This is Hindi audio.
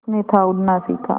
उसने था उड़ना सिखा